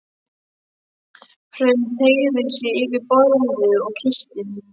Hrönn teygði sig yfir borðið og kyssti mig.